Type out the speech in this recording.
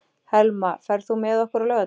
Helma, ferð þú með okkur á laugardaginn?